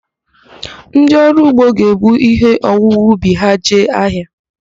Ndịọrụugbo ga-ebu ihe owuwe ubi ha jee ahịa